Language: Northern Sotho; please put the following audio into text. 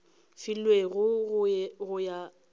filwego go ya ka karolo